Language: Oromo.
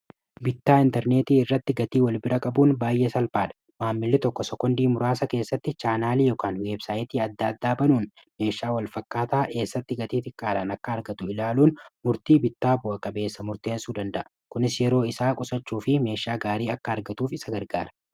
bittaa interneetii irratti gatii wal bira qabuun baay'ee salphaadha maammili tokko sokondii muraasa keessatti chaanaalii yookaan weebsaayitii adda-addaabanuun meeshaa walfakkaataa eessatti gatii tikkaadhaan akka argatu ilaaluun murtii bittaa bu'a qabeessa murteensuu danda'a kunis yeroo isaa qusachuu fi meeshaa gaarii akka argatuuf isa gargaara